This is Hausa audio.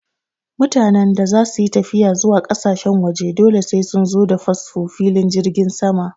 Mutanen da zasu yi tafiya zuwa ƙasashen waje dole sai sun zo da fasfo filin jirgin sama